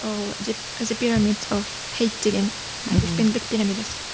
деген көшпенділік пирамидасы